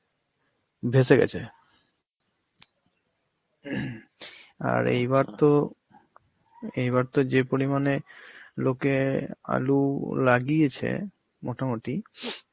ভেসে গেছে. আর এইবার তো, এইবার তো যে পরিমাণে লোকে আলু লাগিয়েছে মোটামুটি,